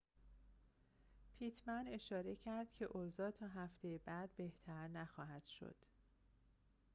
پیتمن اشاره کرد که اوضاع تا هفته بعد بهتر نخواهد شد